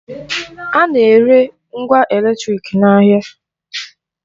A na-ere ngwa eletrịk n'ahịa.